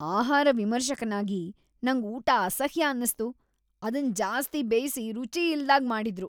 ಆಹಾರ ವಿಮರ್ಶಕನಾಗಿ ನಂಗ್, ಊಟ ಅಸಹ್ಯ ಅನ್ನಿಸ್ತು ಅದನ್ ಜಾಸ್ತಿ ಬೇಯ್ಸಿ ರುಚಿ ಇಲ್ದಾಗೆ ಮಾಡಿದ್ರು.